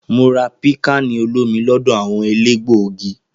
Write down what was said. Mo rà pikkani olomi lọdọ awọn elégbògi.